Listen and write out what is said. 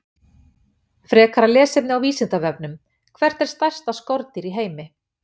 Frekara lesefni á Vísindavefnum: Hvert er stærsta skordýr í heimi?